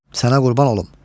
Sənə qurban olum.